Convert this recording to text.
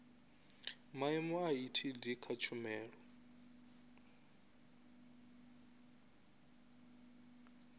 maimo a etd kha tshumelo